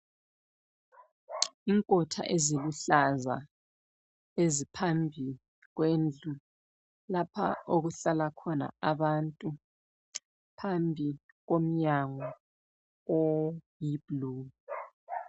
Inkotha eziluhlaza eziphambi kwendlu lapha okuhlala khona abantu ,phambi komnyango oyi blue.